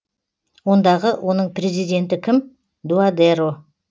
ондағы оның президенті кім дуадеро